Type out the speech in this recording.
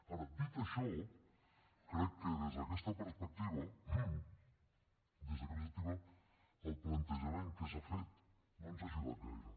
ara dit això crec que des d’aquesta perspectiva el plantejament que s’ha fet no ens ha ajudat gaire